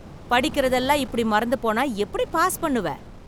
படிக்கிறது எல்லாம் இப்படி மறந்து போனா எப்படி பாஸ் பண்ணுவ